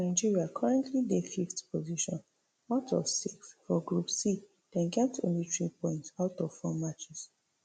nigeria currently dey fiveth position out of six for group c dem get only three points out of four matches